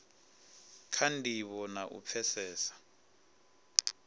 kha ndivho na u pfesesa